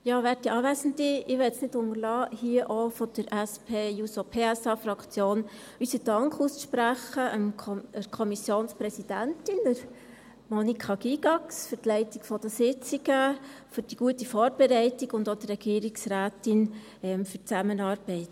Ich möchte es nicht unterlassen, hier auch von der SP-JUSOPSA-Fraktion der Kommissionspräsidentin, Monika Gygax, unseren Dank auszusprechen für die Leitung der Sitzungen, für die gute Vorbereitung, und auch der Regierungsrätin für die Zusammenarbeit.